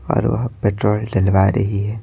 और वह पेट्रोल डलवा रही है।